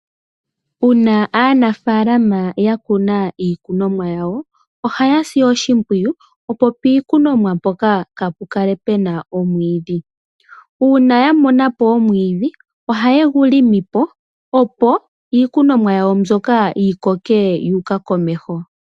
Uuna aanafaalama ya kuna iikunomwa yawo, oha ya si oshimpwiyu opo piikunomwa mpoka kaa pu kale pu na omwiidhi. Uuna ya mona po omwiidhi, ohaye gu longo po opo iikunomwa yawo mbyoka yi koke yu uka komeho.